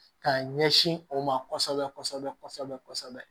K'a ɲɛsin o ma kɔsɛbɛ kɔsɛbɛ kɔsɛbɛ kɔsɛbɛ